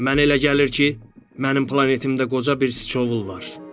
Mənə elə gəlir ki, mənim planetimdə qoca bir siçovul var.